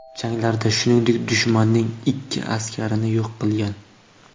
Janglarda, shuningdek, dushmanning ikki askarini yo‘q qilgan.